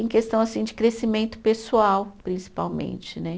Em questão, assim, de crescimento pessoal, principalmente, né?